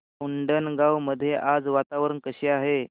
उंडणगांव मध्ये आज वातावरण कसे आहे